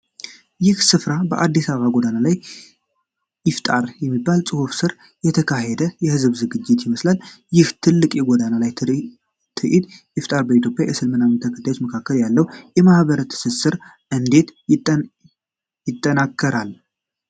ይህ ሥፍራ 'በአዲስ አበባ ጎዳና ላይ ኢፍጣር' የሚል ጽሑፍ ስር የተካሄደ የህዝብ ዝግጅት ይመስላል። ይህ ትልቅ የጎዳና ላይ ኢፍጣር በኢትዮጵያ የእስልምና ተከታዮች መካከል ያለውን የማህበረሰብ ትስስር እንዴት ያጠናክራል?